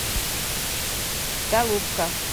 голубка